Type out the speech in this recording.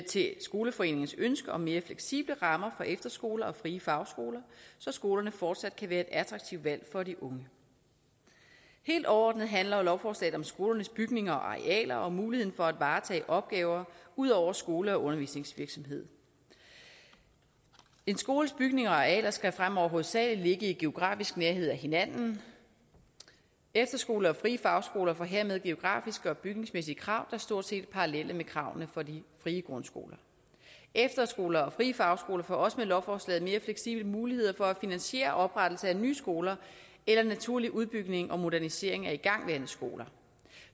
til skoleforeningernes ønske om mere fleksible rammer for efterskoler og frie fagskoler så skolerne fortsat kan være et attraktivt valg for de unge helt overordnet handler lovforslaget om skolernes bygninger og arealer og muligheden for at varetage opgaver ud over skole og undervisningsvirksomhed en skoles bygninger og arealer skal fremover hovedsagelig ligge i geografisk nærhed af hinanden efterskoler og frie fagskoler får hermed geografiske og bygningsmæssige krav der stort set er parallelle med kravene for de frie grundskoler efterskoler og frie fagskoler får også med lovforslaget mere fleksible muligheder for at finansiere oprettelse af nye skoler eller naturlig udbygning og modernisering af igangværende skoler